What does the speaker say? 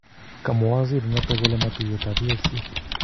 Kamwa waziri notok kole matuyet ap EAC